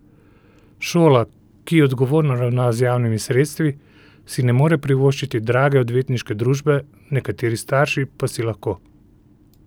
Šola, ki odgovorno ravna z javnimi sredstvi, si ne more privoščiti drage odvetniške družbe, nekateri starši pa si lahko.